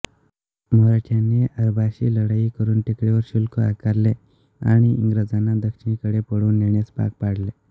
मराठ्यांनी अरबांशी लढाई करुन टेकडीवर शुल्क आकारले आणि इंग्रजांना दक्षिणेकडे पळवून नेण्यास भाग पाडले